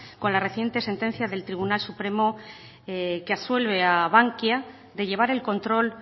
con la reciente sentencia del tribunal supremo que absuelve a bankia de llevar el control